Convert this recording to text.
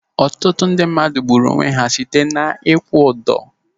Ọtụtụ ndị mmadụ gburu onwe ha site n'ikwu udo.